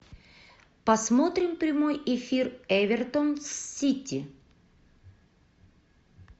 посмотрим прямой эфир эвертон с сити